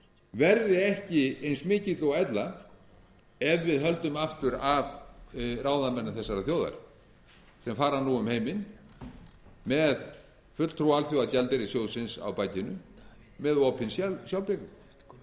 verði ekki eins mikill og ella ef við höldum aftur af ráðamönnum þessarar þjóðar sem fara nú um heiminn með fulltrúa alþjóðagjaldeyrissjóðsins á bakinu með opinn sjálfblekung með